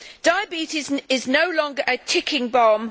Diabetes is no longer a ticking bomb.